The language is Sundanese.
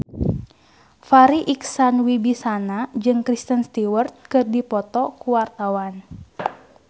Farri Icksan Wibisana jeung Kristen Stewart keur dipoto ku wartawan